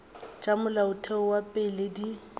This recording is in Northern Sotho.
tša molaotheo wa pele di